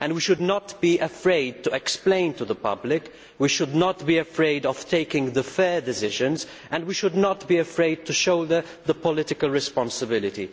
We should not be afraid to explain this to the public. We should not be afraid of taking fair decisions, and we should not be afraid to show political responsibility.